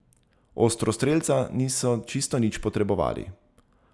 Ostrostrelca niso čisto nič potrebovali.